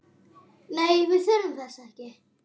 Nei, við þurfum þess ekki.